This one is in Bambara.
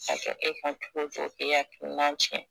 Ka kɛ e kan cogo cogo k'e akilinan cɛn